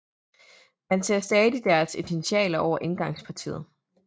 Man ser stadig deres initialer over indgangspartiet